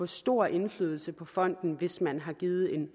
stor indflydelse på fonden hvis man har givet en